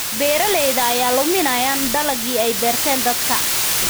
Beeraleyda ayaa luminaya dalagyadii ay beerteen daadadka.